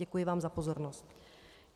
Děkuji vám za pozornost.